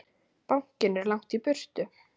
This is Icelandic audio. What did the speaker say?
Bankinn er langt í burtu.